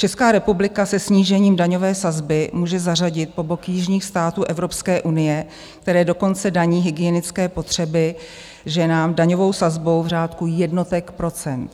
Česká republika se snížením daňové sazby může zařadit po bok jižních států Evropské unie, které dokonce daní hygienické potřeby ženám daňovou sazbou v řádu jednotek procent.